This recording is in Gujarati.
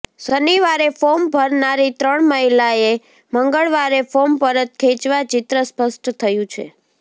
શનિવારે ફોર્મ ભરનારી ત્રણ મહિલાએ મંગળવારે ફોર્મ પરત ખેંચતા ચિત્ર સ્પષ્ટ થયું છે